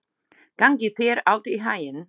Gangi þér allt í haginn, Björg.